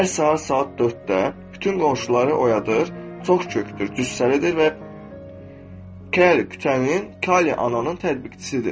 Hər səhər saat 4-də bütün qonşuları oyadır, çox kökdür, cüssəlidir və Kəli küçənin Kali ananın tətbiqçisidir.